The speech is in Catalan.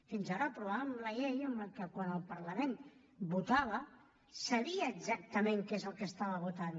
fins ara aprovàvem la llei que quan el parlament votava sabia exactament què és el que estava votant